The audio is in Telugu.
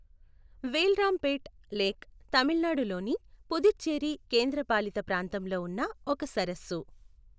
వేల్రాంపేట్ లేక్ తమిళనాడు లోని పుదుచ్చేరి కేంద్రపాలిత ప్రాంతంలో ఉన్న ఒక సరస్సు.